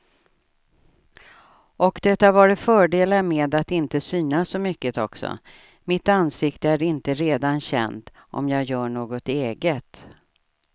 Och det har varit fördelar med att inte synas så mycket också, mitt ansikte är inte redan känt om jag gör något eget.